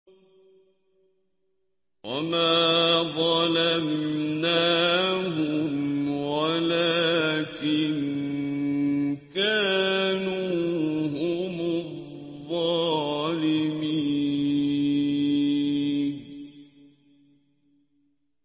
وَمَا ظَلَمْنَاهُمْ وَلَٰكِن كَانُوا هُمُ الظَّالِمِينَ